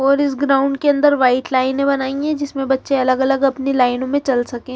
और इस ग्राउंड के अंदर व्हाइट लाइनें बनाई है जिसमें बच्चे अलग अलग अपनी लाइन मे चल सके।